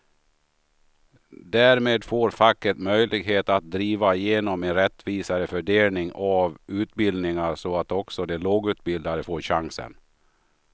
Därmed får facket möjlighet att driva igenom en rättvisare fördelning av utbildningen så att också de lågutbildade får chansen.